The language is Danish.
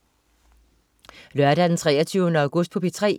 Lørdag den 23. august - P3: